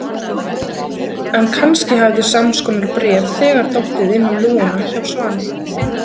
En kannski hafði sams konar bréf þegar dottið inn um lúguna hjá Svani.